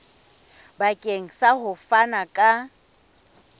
bakeng sa ho fana ka